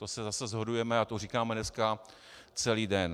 To se zase shodujeme a to říkáme dneska celý den.